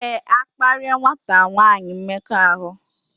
Éè, akparia nwata nwanyi mmekọahụ